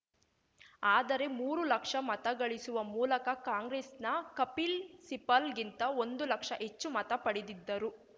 ಆದರೆ ಮೂರು ಲಕ್ಷ ಮತ ಗಳಿಸುವ ಮೂಲಕ ಕಾಂಗ್ರೆಸ್‌ನ ಕಪಿಲ್‌ ಸಿಪಲ್‌ಗಿಂತ ಒಂದು ಲಕ್ಷ ಹೆಚ್ಚು ಮತ ಪಡೆದಿದ್ದರು